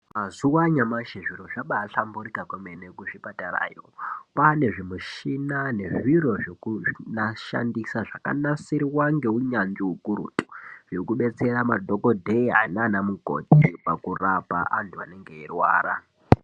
Mazuva anyamashi zviro zvabaahlamburika kwemene kuzvipatarayo. Kwaane zvimuchina nezviro zvekushandisa zvakanasirwa ngeunyanzvi hukurutu zvekudetsera madhokodheya naana mukoti pakurapa antu anenge eirwara.